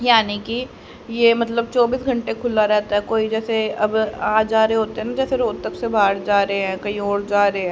यानी की ये मतलब चौबीस घंटे खुला रहता है कोई जैसे अब आ जा रहे होते है जैसे कोई रोतक से बाहर जा रहे है कही और जा रहे--